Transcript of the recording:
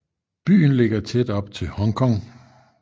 Byen ligger tæt op til Hongkong